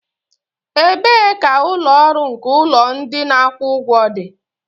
Ebee ka ụlọ ọrụ nke ụlọ ndị na akwụ ụgwọ dị?